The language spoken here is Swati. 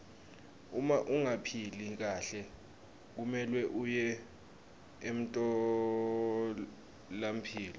uma ungaphili kahle kumelwe uye emtfolampilo